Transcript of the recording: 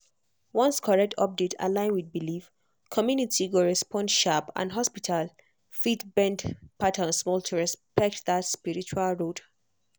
once correct update align with belief community go respond sharp and hospital fit bend pattern small to respect that spiritual road.